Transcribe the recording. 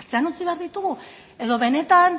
atzean utzi behar ditugu edo benetan